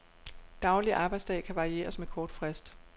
Daglig arbejdsdag kan varieres med kort frist.